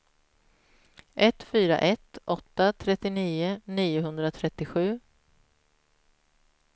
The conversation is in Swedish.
ett fyra ett åtta trettionio niohundratrettiosju